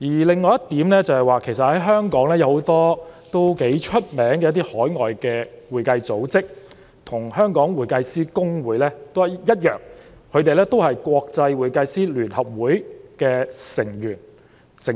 另一點是，香港有很多享負盛名的海外會計組織，跟公會一樣同屬國際會計師聯合會的成員。